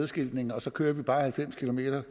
skiltning og så kører vi bare halvfems kilometer